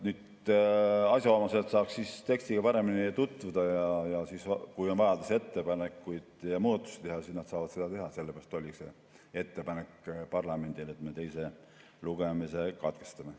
Et asjaomased saaksid tekstiga paremini tutvuda ja kui on vajadus ettepanekuid ja muudatusi teha, et nad siis saaksid seda teha, sellepärast oligi see ettepanek parlamendile, et me teise lugemise katkestaksime.